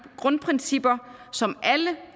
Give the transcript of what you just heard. grundprincipper som alle